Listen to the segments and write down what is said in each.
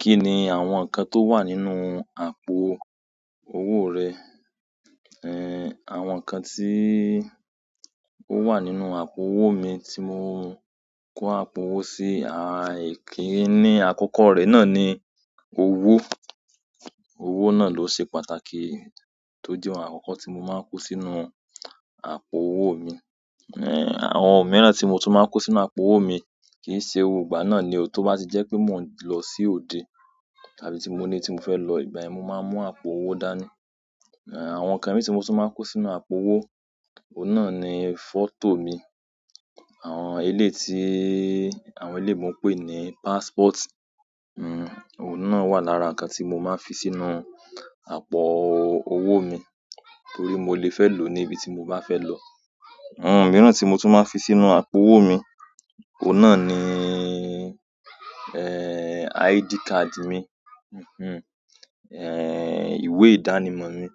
Kí ni àwọn nǹkan tó wà nínú àpò owó rẹ? Ẹ̀, àwọn nǹkan tí ó wà nínú àpò owó mi tí mo ń kó àpò owó sí, aà, èyí kí í ní àkókò rẹ̀ náà ni owó. Owó náà ló ṣe pàtàkì tó jẹ́ àwọn àkókò tí mo máa ń kó sínú àpò owó mi. Ẹ̀, àwọn mìíràn tí mo tún máa ń kó sínú àpò owó mi kì í ṣe gbogbo ìgbà náà ni o tó bá ti jẹ́ pé mò ń lọ sí òde tàbí tí mo ní tí mo fẹ́ lọ ìgbà yen mo máa mú àpò owó dání. Ẹ̀, àwọn nǹkan mìí tí mo tún máa ń kó sínú àpò owó, òun náà ni fọ́tò mi. Àwọn eléyii ti, àwọn eleyinbo n pè ní passport. Ẹ̀, òun náà wà lára nǹkan tí mo máa ń fi sínú àpò. Owó mi torí mo lè fẹ́ lò níbi tí mo bá fẹ́ lọ àwọn mìíràn tí mo tún máa ń fi sínú àpò owó mi, òun náà ni, ẹ́ẹ́, ID card mi ẹ̀, ìwé ìdánimọ̀ mi.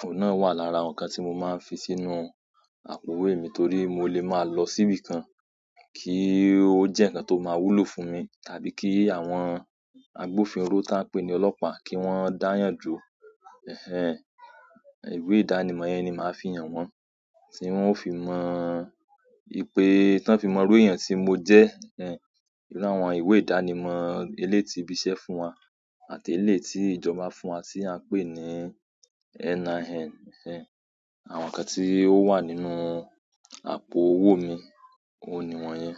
Òun náà wà lára àwọn nǹkan tí mo máa ń fi sínú e. Àpò owó mi torí mo lè máa lọ síbi kan, kí ó jẹ́ nǹkan tó máa wúlò fún mi. Tàbí kí àwọn agbófinró ta pè ní ọlọ́pàá kí wọ́n dáyàn dùro, ẹ̀ẹ́, ìwé ìdánimọ̀ yẹn ni màá fi hàn wọ́n tí wọ́n ó fi mọ ìpè tí wọ́n fi mọ irú èèyàn tí mo jẹ́. Iru àwọn ìwé ìdánimọ̀ ti eleyi ti ibi iṣẹ́ fún won, àti eleyi ti ìjọba fún wa ti a n pe ni NIN. Ẹ̀ẹ́, àwọn nǹkan tí ó wà nínú àpò owó mi òun ni wọ́n yẹn.